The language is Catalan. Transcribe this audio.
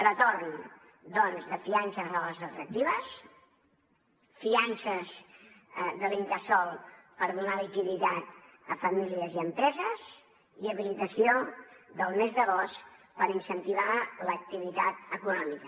retorn doncs de fiances a les extractives fiances de l’incasòl per donar liquiditat a famílies i a empreses i habilitació del mes d’agost per incentivar l’activitat econòmica